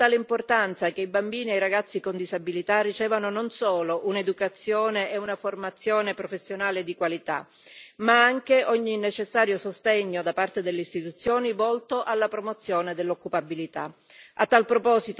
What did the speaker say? Considero di fondamentale importanza che i bambini e i ragazzi con disabilità ricevano non solo un'educazione e una formazione professionale di qualità, ma anche ogni necessario sostegno da parte delle istituzioni volto alla promozione dell'occupabilità.